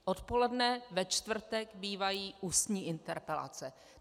Odpoledne ve čtvrtek bývají ústní interpelace.